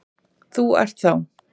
Þú ert þá?